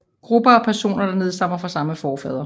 Gruppe af personer der nedstammer fra samme forfader